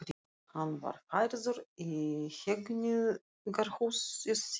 Hann var færður í Hegningarhúsið við